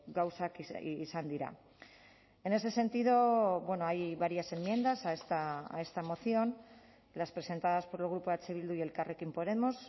gauzak izan dira en ese sentido hay varias enmiendas a esta moción las presentadas por el grupo eh bildu y elkarrekin podemos